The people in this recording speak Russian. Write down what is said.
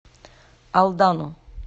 алдану